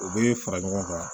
U bɛ fara ɲɔgɔn kan